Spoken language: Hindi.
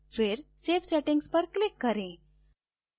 फिर save settings पर click करें